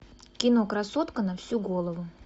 кино красотка на всю голову